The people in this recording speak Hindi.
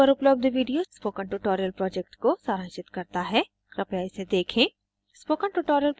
निम्न link पर उपलब्ध video spoken tutorial project को सारांशित करता है कृपया इसे देखें